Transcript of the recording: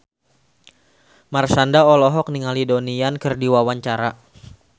Marshanda olohok ningali Donnie Yan keur diwawancara